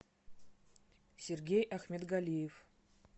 сергей ахмедгалиев